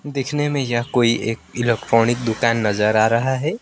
दिखने में यह कोई एक इलेक्ट्रॉनिक दुकान नजर आ रहा है।